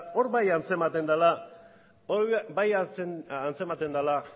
hor bai antzematen dela hor bai antzematen dela